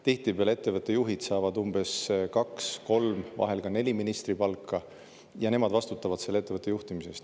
Tihtipeale ettevõtte juhid saavad kaks-kolm, vahel ka neli ministripalka, ja nemad vastutavad ettevõtte juhtimise eest.